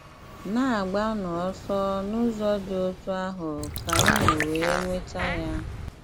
Na-agbanụ ọsọ n'ụzọ dị otú ahụ ka unu wee nweta ya.